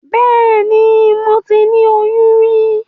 Bẹ́ẹ̀ni, moti ni oyún rí.